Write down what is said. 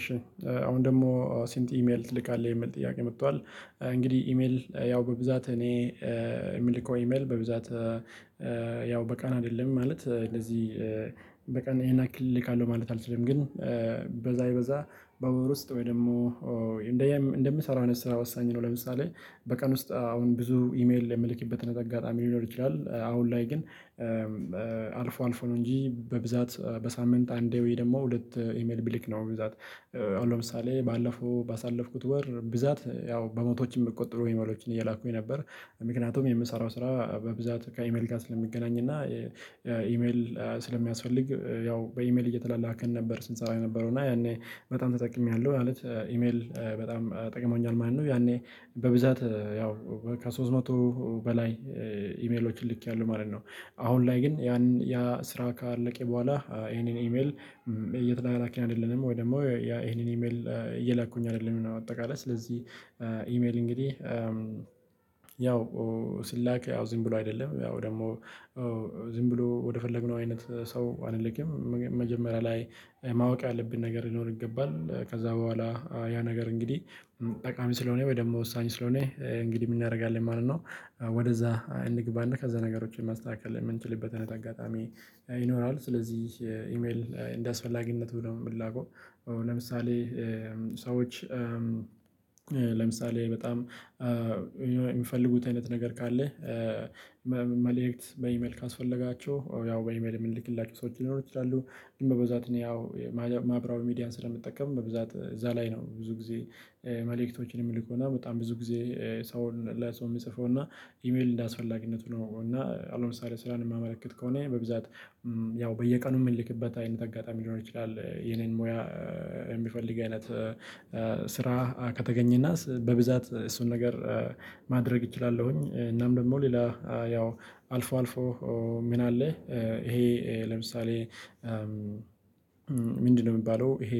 እሺ አሁን ደግሞ ስንት ኢሜል ትልካለህ የሚል ጥያቄ መጥቷል? እንግዲህ ኢሜል ያው በብዛት እኔ የምልከው ኢሜል በብዛት። ያው በቀን አይደለም ማለት እንደዚህ። በቀን ይሄን ያክል ልካለሁ ማለት አልችልም። ግን ቢበዛ ቢበዛ በወር ውስጥ ወይ ደግሞ እንደምሰራው አይነት ስራ ወሳኝ ነው። ለምሳሌ በቀን ውስጥ አሁን ብዙ ኢሜል የምልክበትን አጋጣሚ ሊኖር ይችላል አሁን ላይ ግን አልፎ አልፎ ነው። እንጂ በብዛት በሳምንት አንዴ ወይ ደግሞ ሁለት ኢሜል ብልክ ነው። በብዛት ለምሳሌ ባለፈው ባሳለፍኩት ወር ብዛት ያው በመቶዎች የምትቆጥሩ ኢሜሎችን እየላኩኝ ነበር። ምክንያቱም የምሰራው ስራ በብዛት ከኢሜል ጋር ስለሚገናኝ እና ኢሜል ስለሚያስፈልግ ያው በኢሜል እየተላላከን ነበር ስንሰራ የነበረው እና ያኔ በጣም ተጠቅሜያለሁ። ማለት ኢሜል በጣም ጠቅሞኛል ማለት ነው። ያኔ በብዛት ያው ከሶስት መቶ በላይ ኢሜሎችን ልኬያለሁ ማለት ነው። አሁን ላይ ግን ያ ስራ ካለቀ በኋላ ይሄንን ኢሜል የተላላክን አይደለም ወይ ደግሞ ያ ይሄንን ኢሜል እየላኩኝ አይደለም እና በአጠቃላይ ስለዚህ። ኢሜል እንግዲህ ያው ሲላክ ዝም ብሎ አይደለም ያው ደግሞ ዝም ብሎ ወደፈለግነው አይነት ሰው አንልክም መጀመሪያ ላይ ማወቅ ያለብን ነገር ሊኖር ይገባል። ከዛ በኋላ ያ ነገር እንግዲህ ጠቃሚ ስለሆነ ወይ ደግሞ ወሳኝ ስለሆነ እንግዲህ ምን እናደርጋለን ማለት ነው። ወደዛ እንግባና ከዛ ነገሮችን ማስተካከል የምንችልበት አጋጣሚ ይኖራል። ስለዚህ ኢሜል እንደ አስፈላጊነቱ ነው የሚላከው። ለምሳሌ ሰዎች ለምሳሌ በጣም የሚፈልጉት አይነት ነገር ካለ መልእክት በኢሜል ካስፈለጋቸው ያው በኢሜል የምንልክላቸው ሰዎች ሊኖሩ ይችላሉ። ግን በብዛት እኔ ያው ማህበራዊ ሚዲያን ስለምጠቀም በብዛት እዛ ላይ ነው ብዙ ጊዜ መልእክቶችን የምልከውና በጣም ብዙ ጊዜ ሰውን ለሰው የምጽፈውና ኢሜል እንደአስፈላጊነቱ ነው። እና አሁን ለምሳሌ ስራን የማመለክት ከሆነ በብዛት ያው በየቀኑ የምንልክበት አይነት አጋጣሚ ሊሆን ይችላል። የኔን ሙያ የሚፈልግ አይነት ስራ ከተገኘና በብዛት እሱን ነገር ማድረግ እችላለሁኝ። እናም ደግሞ ሌላ ያው አልፎ አልፎ ምን አለ ይሄ? ለምሳሌ ምንድነው የሚባለው ይሄ?